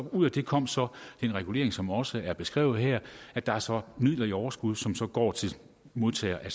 og ud af det kom så den regulering som også er beskrevet her og der er så midler i overskud som som går til modtagerne af